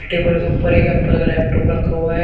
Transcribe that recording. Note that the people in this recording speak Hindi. टेबल के ऊपर एक एप्पल का लैपटॉप रखा हुआ है।